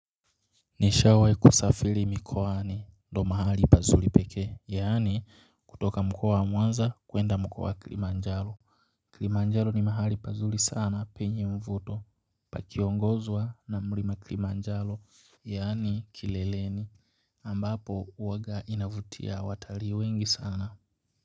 Nishawai kusafiri mikoani do mahali pazuli pekee yaani kutoka mkoa wa mwanza kuenda mkoa wa kilimanjaro Kilimanjaro ni mahali pazuri sana penye mvuto pakiongozwa na mlima kilimanjaro yaani kileleni ambapo huwaga inavutia watalii wengi sana.